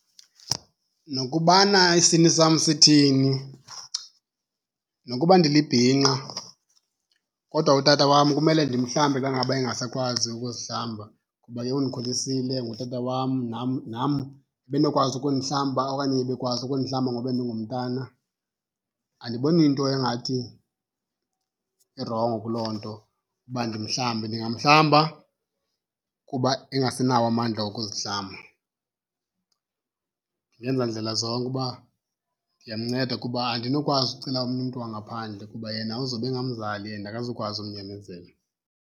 Nokubana isini sam sithini, nokuba ndilibhinqa kodwa utata wam kumele ndimhlambe xa ngaba engasakwazi ukuzihlamba kuba ke undikhulisile ngutata wam, nam nam ebenokwazi ukundihlamba okanye ebekwazi ukundihlamba ngoku bendingumntana. Andiboni nto engathi irongo kuloo nto uba ndimhlambe. Ndingamhlamba kuba engasenawo amandla okuzihlamba. Ndingenza ndlela zonke uba ndiyamnceda kuba andinokwazi ukucela omnye umntu wangaphandle kuba yena uzawube engamzali and akazukwazi umnyamezela.